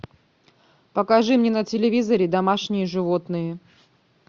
покажи мне на телевизоре домашние животные